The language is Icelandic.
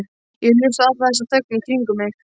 Ég hlusta á alla þessa þögn í kringum mig.